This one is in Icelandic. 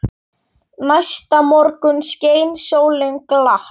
Næsta morgun skein sólin glatt.